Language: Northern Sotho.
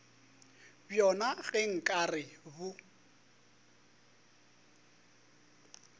bjona ge nka re bo